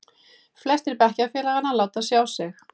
Flestir bekkjarfélaganna láta sjá sig.